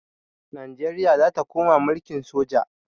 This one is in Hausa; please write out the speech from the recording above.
Najeriya za ta koma mulkin soja.